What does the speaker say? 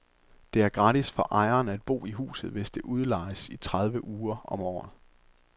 Det er gratis for ejeren at bo i huset hvis det udlejes i tredive uger om året.